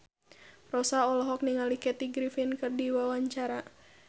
Rossa olohok ningali Kathy Griffin keur diwawancara